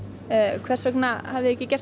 hvers vegna hafið þið ekki gert